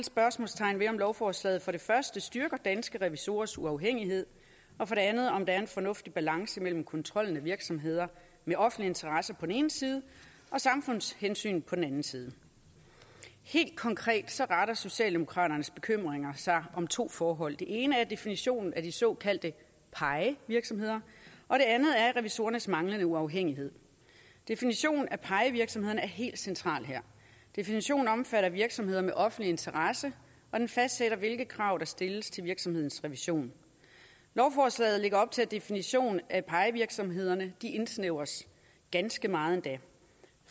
spørgsmålstegn ved om lovforslaget for det første styrker danske revisorers uafhængighed og for det andet om der er en fornuftig balance mellem kontrollen af virksomheder med offentlig interesse på den ene side og samfundshensyn på den anden side helt konkret retter socialdemokraternes bekymringer sig mod to forhold det ene er definitionen af de såkaldte pie virksomheder og det andet er revisorernes manglende uafhængighed definitionen af pie virksomhederne er helt central her definitionen omfatter virksomheder med offentlig interesse og den fastsætter hvilke krav der stilles til virksomhedens revision lovforslaget lægger op til at definitionen af pie virksomhederne indsnævres ganske meget endda